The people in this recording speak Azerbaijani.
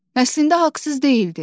Əslində haqsız deyildi.